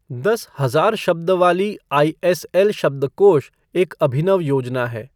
दस हजार शब्द वाली आईएसएल शब्दकोष एक अभिनव योजना है।